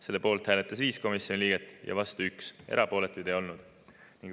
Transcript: Selle poolt hääletas 5 komisjoni liiget ja vastu 1, erapooletuid ei olnud.